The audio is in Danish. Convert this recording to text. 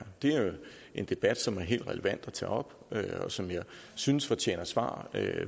det er jo en debat som det er helt relevant at tage op og som jeg synes fortjener svar